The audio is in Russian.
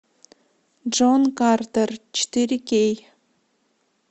джон картер четыре кей